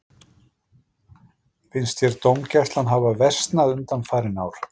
Finnst þér dómgæslan hafa versnað undanfarin ár?